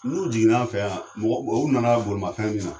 N'u jiginn'an fɛ yan mɔgɔw nana bolimafɛn min na